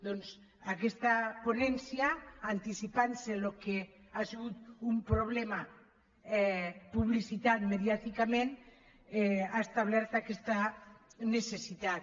doncs aquesta ponència anticipant se al que ha sigut un problema publicitat mediàticament ha establert aquesta necessitat